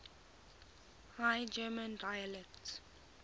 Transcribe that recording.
high german dialects